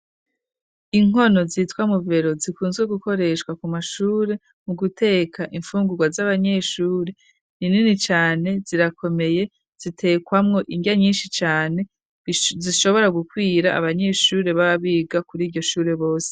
Inkono, zitwa "Muvero", zikunzwe gukoreshwa, ku mashure, mu guteka imfungurwa, z'abanyeshure; ni nini cane, zirakomeye, zitekwamwo indya nyinshi cane, zishobora gukwira, abanyeshure baba biga, kuri iryo shure bose.